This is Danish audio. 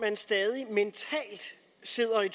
syv og jeg